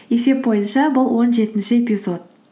есеп бойынша бұл он жетінші эпизод